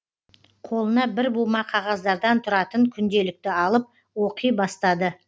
қолына бір бума қағаздардан тұратын күнделікті алып оқи бастады